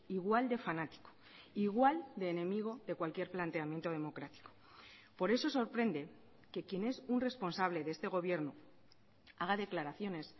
igual de fanático igual de enemigo de cualquier planteamiento democrático por eso sorprende que quien es un responsable de este gobierno haga declaraciones